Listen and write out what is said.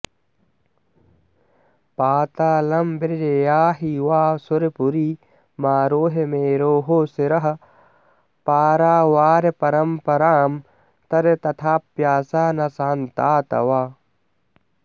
पातालं व्रज याहि वा सुरपुरीमारोह मेरोः शिरः पारावारपरम्परां तर तथाप्याशा न शान्ता तव